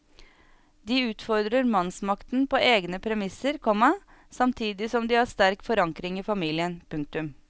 De utfordrer mannsmakten på egne premisser, komma samtidig som de har en sterk forankring i familien. punktum